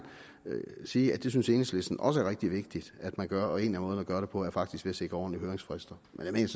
sige at det synes enhedslisten også er rigtig vigtigt at man gør og en af måderne at gøre det på er faktisk ved at sikre ordentlige høringsfrister men jeg